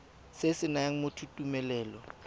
se se nayang motho tumelelo